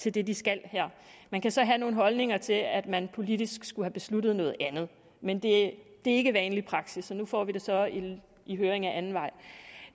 til det de skal man kan så have nogle holdninger til at man politisk skulle have besluttet noget andet men det er ikke vanlig praksis og nu får vi det så i høring ad anden vej